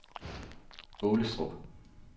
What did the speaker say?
Aalestrup